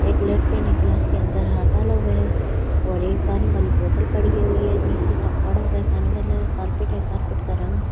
एक लड़के ने ग्लास के अंदर हाथ बाला हुआ है और एक पानी वाली बोतल पड़ी हुई है नीचे टब पड़ा हुआ है पानी वाला है कारपेट है कारपेट का रंग --